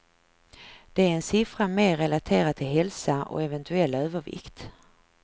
Det är en siffra mer relaterad till hälsa och eventuell övervikt.